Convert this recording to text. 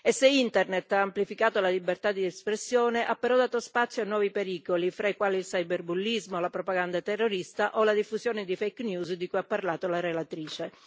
Se Internet ha amplificato la libertà di espressione, ha però dato spazio a nuovi pericoli, fra i quali il cyberbullismo, la propaganda terrorista o la diffusione di fake news di cui ha parlato la relatrice.